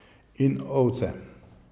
In ovce?